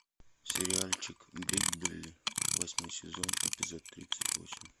сериальчик бриклберри восьмой сезон эпизод тридцать восемь